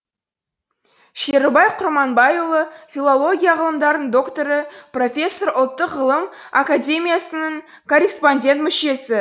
шерубай құрманбаи ұлы филология ғылымдарының докторы профессор ұлттық ғылым академиясының корреспондент мүшесі